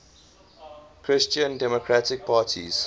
christian democratic parties